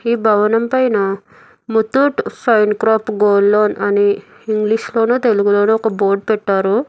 ఈ భవనం పైన ముత్తూట్ సైన్ క్రోప్ గోల్డ్ లోన్ అని ఇంగ్లీష్ లోను తెలుగులోను ఒక బోర్డు పెట్టారు.